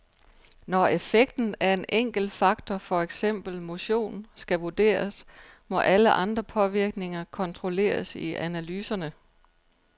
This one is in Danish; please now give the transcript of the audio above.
Når effekten af en enkelt faktor for eksempel motion skal vurderes, må alle andre påvirkninger kontrolleres i analyserne.